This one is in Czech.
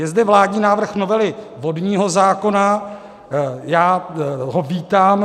Je zde vládní návrh novely vodního zákona, já ho vítám.